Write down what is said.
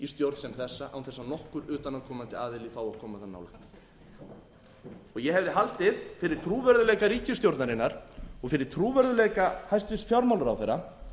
stjórn sem þessa án þess að nokkur utanaðkomandi aðili fái að koma þar nálægt ég hefði haldið fyrir trúverðugleika ríkisstjórnarinnar og fyrir trúverðugleika hæstvirtur fjármálaráðherra